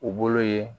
U bolo ye